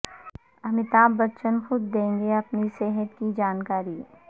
امیتابھ بچن خود دیں گے اپنی صحت کی جانکاری